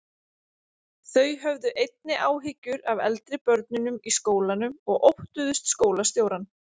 Þau höfðu einnig áhyggjur af eldri börnum í skólanum og óttuðust skólastjórann.